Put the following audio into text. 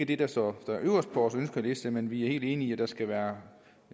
det der står øverst på vores ønskeliste men vi er helt enige i at der skal være